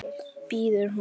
biður hún.